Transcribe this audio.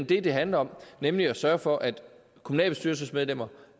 det det handler om nemlig at sørge for at kommunalbestyrelsesmedlemmer